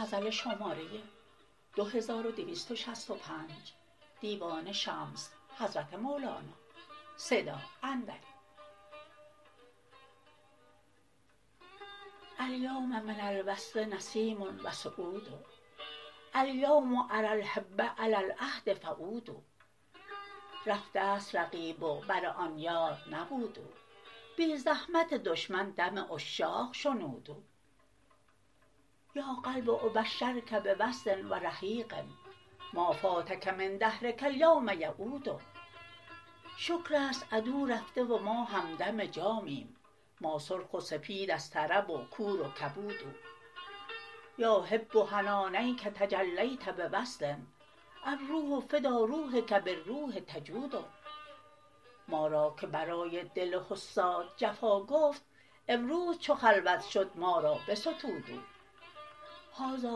الیوم من الوصل نسیم و سعود الیوم اری الحب علی العهد فعودوا رفته ست رقیب و بر آن یار نبود او بی زحمت دشمن دم عشاق شنود او یا قلب ابشرک به وصل و رحیق ما فاتک من دهرک الیوم یعود شکر است عدو رفته و ما همدم جامیم ما سرخ و سپید از طرب و کور و کبود او یا حب حنا نیک تجلیت بوصل الروح فدا روحک بالروح تجود ما را که برای دل حساد جفا گفت امروز چو خلوت شد ما را بستود او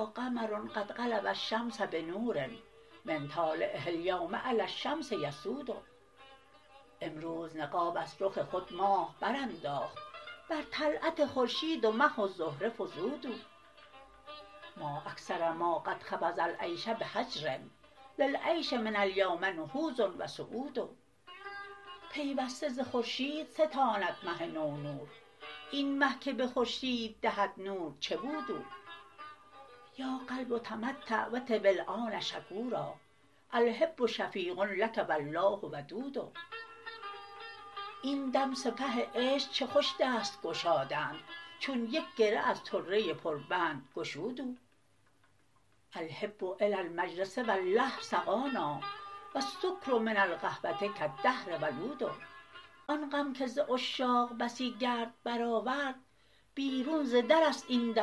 هذا قمر قد غلب الشمس بنور من طالعه الیوم علی الشمس یسود امروز نقاب از رخ خود ماه برانداخت بر طلعت خورشید و مه و زهره فزود او ما اکثر ما قد خفض العیش به هجر للعیش من الیوم نهوض و صعود پیوسته ز خورشید ستاند مه نو نور این مه که به خورشید دهد نور چه بود او یا قلب تمتع و طب ان شکورا الحب شفیق لک و الله ودود این دم سپه عشق چه خوش دست گشادند چون یک گره از طره پربند گشود او الحب الی المجلس والله سقانا و السکر من القهوه کالدهر ولود آن غم که ز عشاق بسی گرد برآورد بیرون ز در است این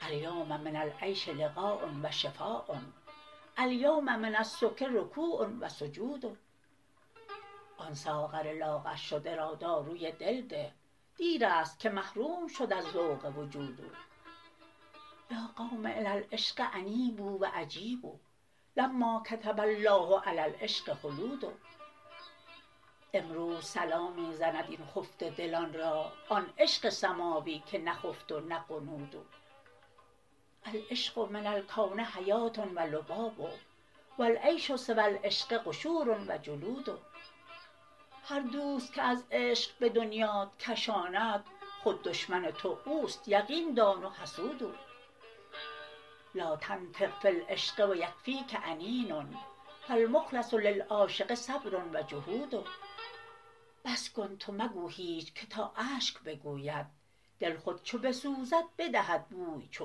دم و از بام فرود او الیوم من العیش لقاء و شفا الیوم من السکر رکوع و سجود آن ساغر لاغرشده را داروی دل ده دیر است که محروم شد از ذوق وجود او یا قوم الی العشق انیبوا و اجیبوا لما کتب الله علی العشق خلود امروز صلا می زند این خفته دلان را آن عشق سماوی که نخفت و نغنود او العشق من الکون حیات و لباب و العیش سوی العشق قشور و جلود هر دوست که از عشق به دنیات کشاند خود دشمن تو او است یقین دان و حسود او لا تنطق فی العشق و یکفیک انین فالمخلص للعاشق صبر و جحود بس کن تو مگو هیچ که تا اشک بگوید دل خود چو بسوزد بدهد بوی چو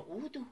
عود او